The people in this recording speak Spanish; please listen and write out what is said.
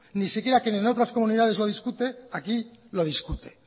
ni siquiera quien en otras comunidades lo discute aquí lo discute